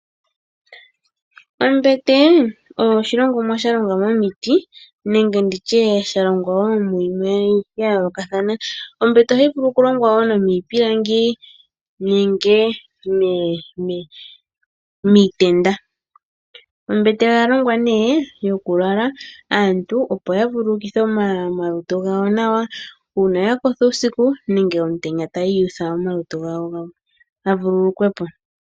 Ombete oyo oshilongomwa sha longwa momiti nenge mu yimwe ya yoolokathana. Ombete ohayi vulu okulongwa wo nomiipilangi nenge miitenda. Ombete oya longwa yokulala, aantu opo ya vululukithe omalutu gawo nawa uuna ya kotha uusiku nenge omutenya taya utha omalutu gawo ga vululukwe po.